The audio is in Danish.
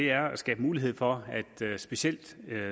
er at skabe mulighed for at specielt